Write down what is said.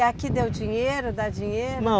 E aqui deu dinheiro, dá dinheiro? Não